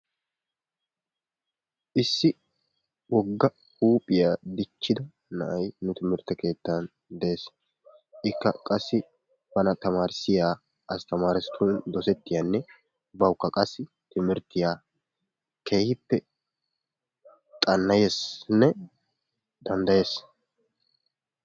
Issi wogga huuphiya dichchida na"ayi nu timirtte keettan de"es. Ikka qassi bana tamaarissiya asttamaaretun dosettiyanne bawukka qassi timirttiya keehippe xanna"eesinne danddayees.